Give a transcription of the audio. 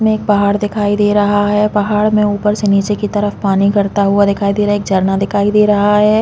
इसमें एक पहाड़ दिखाई दे रहा है पहाड़ में ऊपर से निचे की तरफ पानी गिरता हुआ दिखाई दे रहा है एक झरना दिखाई दे रहा है।